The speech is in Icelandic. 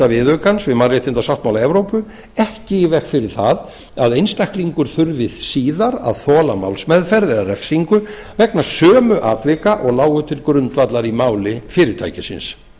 viðaukans við mannréttindasáttmála evrópu ekki í veg fyrir það að einstaklingur þurfi síðar að þola málsmeðferð áður refsingu vegna sömu atvika og lágu til grundvallar í máli fyrirtækisins